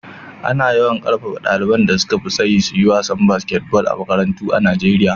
Ana yawan ƙarfafa ɗaliban da suka fi tsayi su yi wasan basketball a makarantu a Nijeriya.